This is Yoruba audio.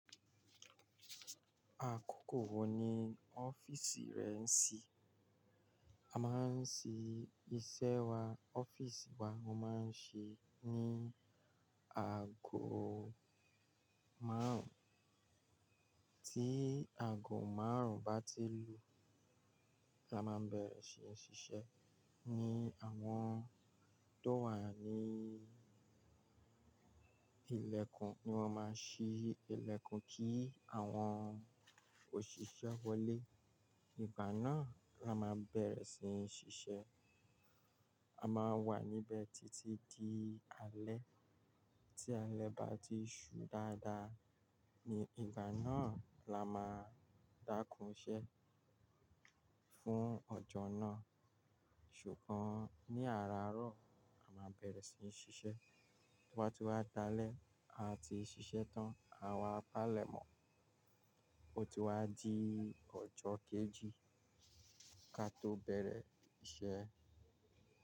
Àkókò wo ni ọ́fìsì rẹ ń ṣí? A máa ń ṣí iṣẹ́ wa, ọ́fìsì wa, ó máa ń ṣí ní aago márùn, tí aago márùn bá ti lùú, la máa bẹ̀rẹ̀ sí ní ṣiṣẹ́. Ni àwọn tó wà ní ilẹ̀kùn ni wọ́n máa ṣí ilẹ̀kùn kí àwọn òṣìṣẹ́ wọlé. Ìgbà náà la máa bẹ̀rẹ̀ sí ní ṣiṣẹ́. A máa wà níbẹ̀ títí di alẹ́. Tí alẹ́ bá ti ṣú dáadáa, ní ìgbà náà la máa dákún ṣẹ́ fún ọjọ́ náà. Ṣùgbọ́n ní àràárọ̀ la máa bẹ̀rẹ̀ sí ní ṣiṣẹ́. Tí wọ́n bá ti wá dalẹ́, a ti ṣiṣẹ́ tán. Àwa palemo, ó ti wá di ọjọ́ kejì kí a tó bẹ̀rẹ̀ iṣẹ́.